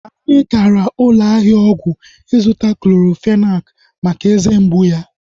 Anyị gara ụlọ ahịa ọgwụ ịga zụta Clorofenak maka eze mgbụ ya